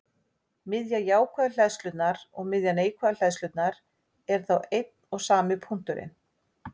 Miðja jákvæðu hleðslunnar og miðja neikvæðu hleðslunnar eru þá einn og sami punkturinn.